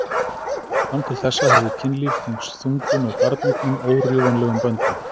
Fram til þessa hafði kynlíf tengst þungun og barneignum órjúfanlegum böndum.